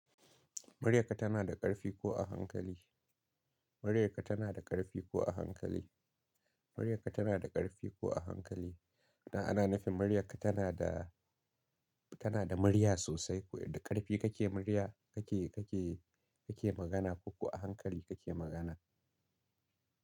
Muryarka tana da ƙarfi ko a hankali. Muryarka tana da ƙarfi ko a hankali. Muryarka tana da ƙarfi ko a hankali. Da ana nufin maryaka tana da, tana da murya sosai ko da ƙarfi kake murya kake, kake, kake magana ko ko a hankali kake magana.